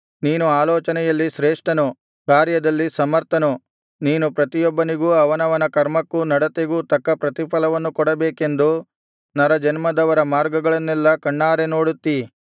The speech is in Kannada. ನೀನು ಆಲೋಚನೆಯಲ್ಲಿ ಶ್ರೇಷ್ಠನು ಕಾರ್ಯದಲ್ಲಿ ಸಮರ್ಥನು ನೀನು ಪ್ರತಿಯೊಬ್ಬನಿಗೂ ಅವನವನ ಕರ್ಮಕ್ಕೂ ನಡತೆಗೂ ತಕ್ಕ ಪ್ರತಿಫಲವನ್ನು ಕೊಡಬೇಕೆಂದು ನರಜನ್ಮದವರ ಮಾರ್ಗಗಳನ್ನೆಲ್ಲಾ ಕಣ್ಣಾರೆ ನೋಡುತ್ತೀ